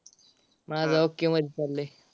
माझा okay मध्ये चाललाय.